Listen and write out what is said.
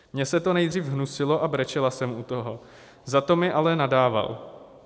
Mně se to nejdřív hnusilo a brečela jsem u toho, za to mi ale nadával.